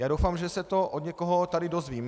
Já doufám, že se to od někoho tady dozvím.